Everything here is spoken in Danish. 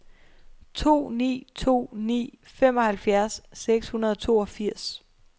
to ni to ni femoghalvfjerds seks hundrede og toogfirs